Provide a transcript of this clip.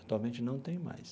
Atualmente não tem mais.